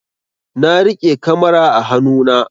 Na riƙe kamara a hanu na